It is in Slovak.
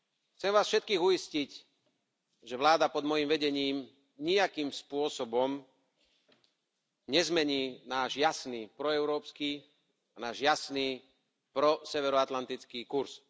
Chcem Vás všetkých uistiť, že vláda pod mojím vedením nijakým spôsobom nezmení náš jasný proeurópsky, náš jasný proseveroatlantický kurz.